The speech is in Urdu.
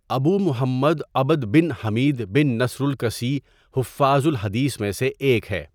ابو محمد عبد بن حميد بن نصر الكسی حفاظ الحديث میں سے ایک ہے.